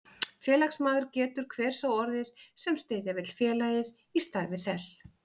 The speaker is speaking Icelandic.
Félagsmaður getur hver sá orðið, sem styðja vill félagið í starfi þess.